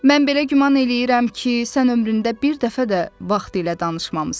Mən belə güman eləyirəm ki, sən ömründə bir dəfə də vaxt ilə danışmamısan.